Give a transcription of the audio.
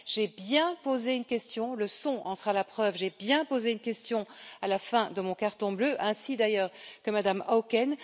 J'ai bien posé une question, le son en sera la preuve, j'ai bien posé une question à la fin de mon carton bleu, ainsi d'ailleurs que Mme Auken.